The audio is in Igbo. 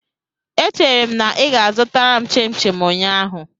Echere m na ị ga-azụta m chimchim ụnyaahụ.